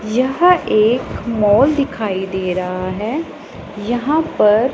यह एक मॉल दिखाई दे रहा है यहां पर--